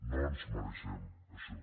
no ens mereixem això